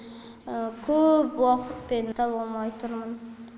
көөп уақытпен таба алмай тұрмын